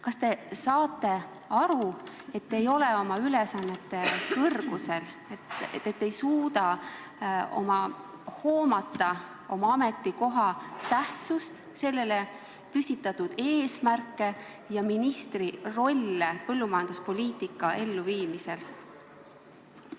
Kas te saate aru, et te ei ole oma ülesannete kõrgusel, te ei suuda hoomata oma ametikoha tähtsust, selle eesmärke ja ministri rolli põllumajanduspoliitika elluviimisel?